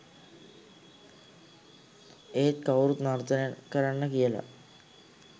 ඒත් කවුරුත් නර්තනය කරන්න කියලා